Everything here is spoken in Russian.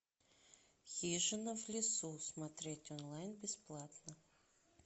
хижина в лесу смотреть онлайн бесплатно